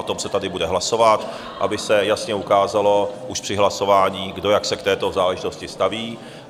O tom se tady bude hlasovat, aby se jasně ukázalo už při hlasování, kdo jak se k této záležitosti staví.